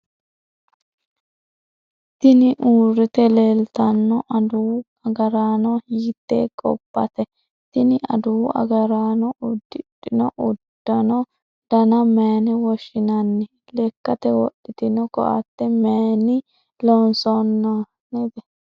tini uurrite leeltanno adawu agaraano hiittee gobbate? tini adawu agaraano uddidhino uddano dana mayiine woshshinanni? lekkate wodhitino koatte mayiinni loonsoonnite?